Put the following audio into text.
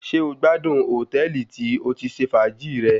Ṣé o gbádùn hòtẹ́ẹ̀lì tí o ti ṣe fàájì rẹ?